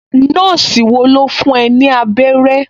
Nọ́ọ̀sì wo ló fún ẹ ní abẹ́rẹ́?